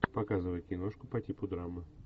показывай киношку по типу драмы